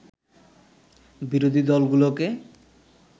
বিরোধী দলগুলোকে